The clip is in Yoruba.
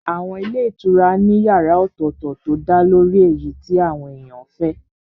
Àwọn ilé ìtura ní yàrá ọ̀tọ̀tọ̀ tó dálórí èyí tí àwọn èèyàn fẹ́